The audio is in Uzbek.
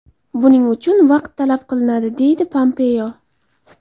Buning uchun vaqt talab qilinadi”, – deydi Pompeo.